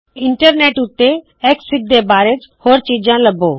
internet ਉੱਤੇ X F I G ਦੇ ਬਾਰੇ ਹੋਰ ਚੀਜ਼ਾਂ ਲੱਭੋ